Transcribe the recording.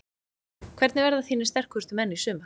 Hverjir verða þínir sterkustu menn í sumar?